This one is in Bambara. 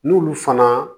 N'olu fana